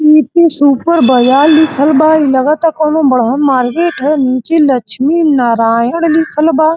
City super बाजार लिखल बा। लगता कोनो बड़हन मार्केट ह। नीचे लक्मी नारायण लिखल बा।